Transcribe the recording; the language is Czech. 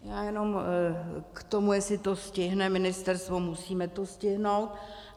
Já jenom k tomu, jestli to stihne ministerstvo - musíme to stihnout.